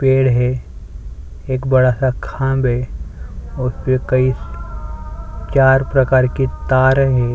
पेड़ है एक बड़ा सा खांध उसपे कई चार प्रकार के तार है।